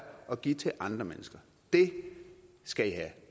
og give til andre mennesker det skal i have